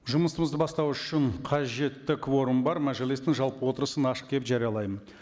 жұмысымызды бастау үшін қажетті кворум бар мәжілістің жалпы отырысын ашық деп жариялаймын